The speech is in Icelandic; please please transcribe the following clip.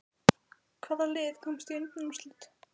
Hvaða lið komast í undanúrslit?